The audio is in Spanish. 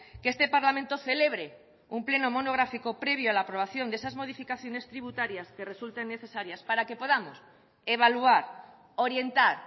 que este parlamento celebre un pleno monográfico previo a la aprobación de esas modificaciones tributarias que resulten necesarias para que podamos evaluar orientar